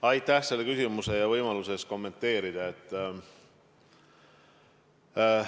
Aitäh selle küsimuse eest ja võimaluse eest kommenteerida!